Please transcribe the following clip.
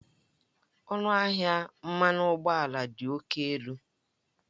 Ọnụahịa mmanụ ụgbọala dị oke elu